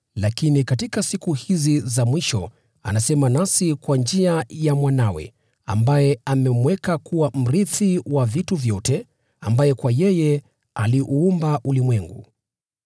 lakini katika siku hizi za mwisho anasema nasi kwa njia ya Mwanawe, ambaye amemweka kuwa mrithi wa vitu vyote, na ambaye kupitia kwake aliuumba ulimwengu.